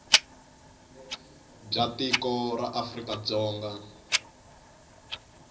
bya tiko ra afrika dzonga